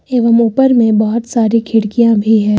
एवं ऊपर में बहोत सारी खिड़कियां भी है।